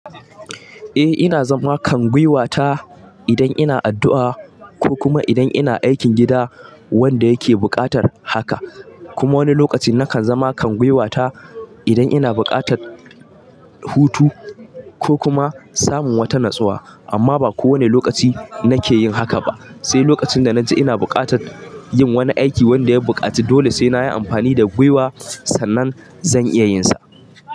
Eh ina zama kan gwuiwa ta idan ina addu'a ko kuma idan ina aikin gida wanda ya ke buƙatar haka. Kuma wani lokacin na kan zama kan gwuiwa ta idan ina bukatar hutu ko kuma samun wata natsuwa amman ba ko wane lokaci na ke yin haka ba. Sai lokacin da na ji ina bukatar yin wani aiki wanda ya bukaci dole sai na yj amfanj da gwuiwa sannan zan iya yin sa.